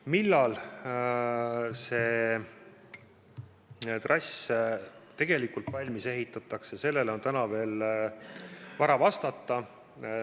Millal see trass valmis ehitatakse, sellele on täna veel vara vastata.